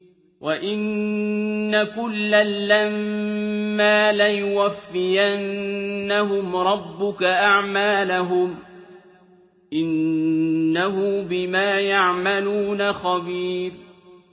وَإِنَّ كُلًّا لَّمَّا لَيُوَفِّيَنَّهُمْ رَبُّكَ أَعْمَالَهُمْ ۚ إِنَّهُ بِمَا يَعْمَلُونَ خَبِيرٌ